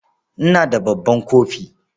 Ina da babban kofi.